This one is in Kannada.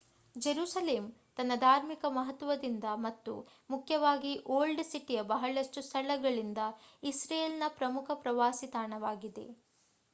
ಜೆರುಸಲೆಮ್ ತನ್ನ ಧಾರ್ಮಿಕ ಮಹತ್ವದಿಂದ ಮತ್ತು ಮುಖ್ಯವಾಗಿ ಓಲ್ಡ್ ಸಿಟಿಯ ಬಹಳಷ್ಟು ಸ್ಥಳಗಳಿಂದ ಇಸ್ರೇಲ್ ನ ಪ್ರಮುಖ ಪ್ರವಾಸಿ ತಾಣವಾಗಿದೆ